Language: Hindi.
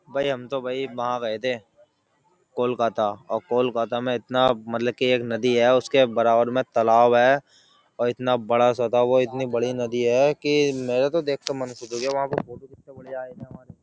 भाई हम तो वहां गए थे कोलकाता और कोलकाता में इतना मतलब की एक नदी है उसके बराबर में तालाब है और इतना बड़ा सा था वो इतनी बड़ी नदी है की मेरा तो देख के मन खुश हो गया वहाँ पे फोटो कितनी बढिया आये थे हमारे।